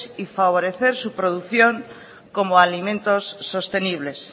y favorecer su producción como alimentos sostenibles